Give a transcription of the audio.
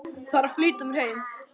Þarf að flýta mér heim.